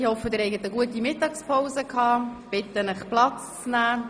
Ich hoffe, Sie hatten eine gute Mittagspause und bitte Sie, nun Platz zu nehmen.